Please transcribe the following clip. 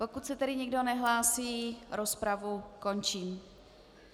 Pokud se tedy nikdo nehlásí, rozpravu končím.